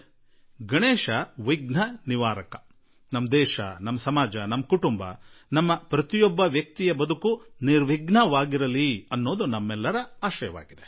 ಗಣಶ್ ಜೀ ವಿಘ್ನ ನಿವಾರಕ ಹಾಗೂ ನಮ್ಮ ದೇಶ ನಮ್ಮ ಸಮಾಜ ನಮ್ಮ ಪರಿವಾರ ನಮ್ಮ ಪ್ರತಿಯೊಬ್ಬ ವ್ಯಕ್ತಿ ಅವರೆಲ್ಲರ ಜೀವನ ನಿರ್ವಿಘ್ನವಾಗಿ ಇರಲಿ ಎಂದು ನಾವೆಲ್ಲಾ ಅಪೇಕ್ಷಿಸೋಣ